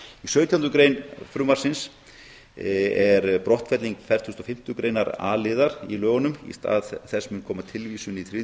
sautjándu grein frumvarpsins er brottfelling fertugustu og fimmtu greinar a liðar í lögunum í stað hans mun koma tilvísun í þriðju